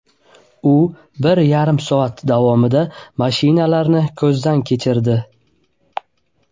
U bir yarim soat davomida mashinalarni ko‘zdan kechirdi.